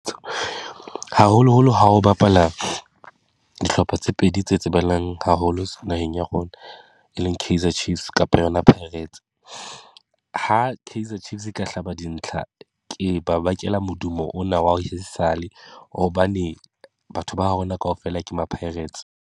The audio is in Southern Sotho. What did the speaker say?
Haholoholo ha o bapala dihlopha tse pedi tse tsebahalang haholo naheng ya rona, e leng Kaizer Chiefs kapa yona Pirates. Ha Kaizer Chiefs e ka hlaba dintlha, ke ba bakela modumo ona wa ho ha esale hobane, batho ba rona kaofela ke maPirates.